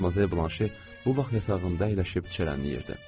Madmazel Blanşe bu vaxt yatağında əyləşib çərənləyirdi.